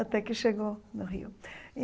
até que chegou no Rio.